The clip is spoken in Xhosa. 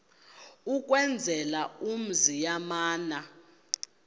ukwenzela umzi yamana